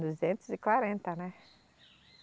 Duzentos e quarenta, né?